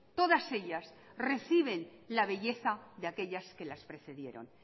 todas ellas reciben la belleza de aquellas que las precedieron